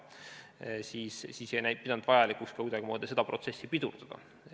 Seetõttu me ei pidanud vajalikuks ka kuidagimoodi seda protsessi pidurdada.